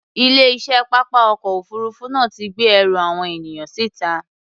Ilé-iṣẹ́ pápá ọkọ̀ òfuurufú náà ti gbé ẹrù àwọn ènìyàn síta.